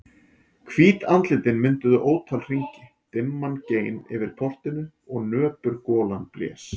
Hvít andlitin mynduðu ótal hringi, dimman gein yfir portinu og nöpur golan blés.